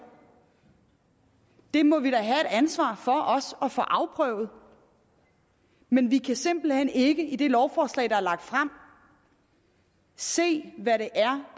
det må vi da have et ansvar for også at få afprøvet men vi kan simpelt hen ikke i det lovforslag der er lagt frem se hvad det